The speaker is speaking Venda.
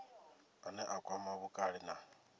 ane a kwama vhukale na